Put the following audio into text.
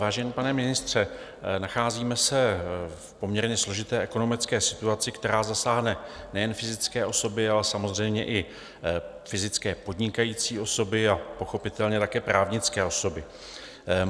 Vážený pane ministře, nacházíme se v poměrně složité ekonomické situaci, která zasáhne nejen fyzické osoby, ale samozřejmě i fyzické podnikající osoby a pochopitelně také právnické osoby.